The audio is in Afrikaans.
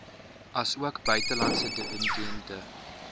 asook buitelandse dividende